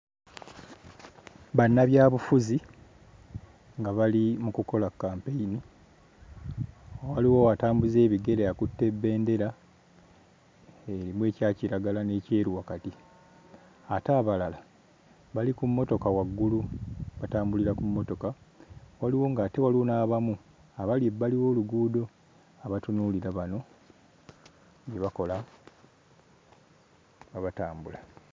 Bannabyabufuzi nga bali mu kukola kkampeyini waliwo atambuza ebigere akutte bbendera erimu ekya kiragala n'ekyeru wakati ate abalala bali ku mmotoka waggulu batambulira ku mmotoka waliwo ng'ate waliwo n'abamu abali ebbali w'oluguudo abatunuulira bano bye bakola nga batambula.